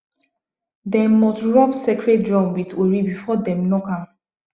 dem must rub sacred drum with ori before dem knock am